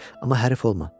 Amma hərif olma.